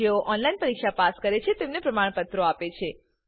જેઓ ઓનલાઈન પરીક્ષા પાસ કરે છે તેઓને પ્રમાણપત્રો આપે છે